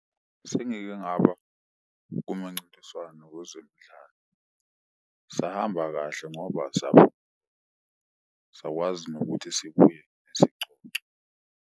Sengike ngaba komancintiswano wezemidlalo. Sahamba kahle ngoba , sakwazi nokuthi sibuye nesicoco.